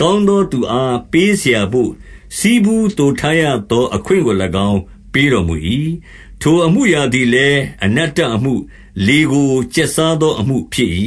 ကောင်းသော သူ အားပေးစရာဘို့၊ ဆည်ဖူးသိုထားရသောအခွင့်ကို၎င်း ပေးတော်မူ၏။ ထိုအမှုအရာသည်လည်း အနတ္တအမှု၊ လေကိုကျက်စားသော အမှုဖြစ်၏။